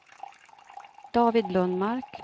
David Lundmark